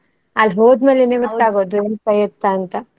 ಅಲ್ ಹೋದ್ ಮೇಲೇನೆ ಗೊತ್ತಾಗೋದು ಎಂತ ಎತ್ತ ಅಂತ.